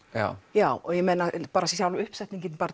já sjálf uppsetningin